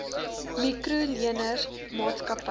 mikro leners maatskappye